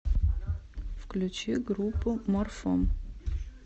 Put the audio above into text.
включи группу морфом